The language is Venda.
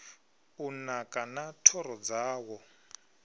u naka na thoro dzawo